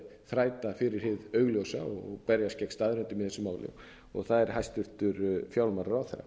þræta fyrir hið augljósa og berjast gegn staðreyndum í þessu máli og það er hæstvirtur fjármálaráðherra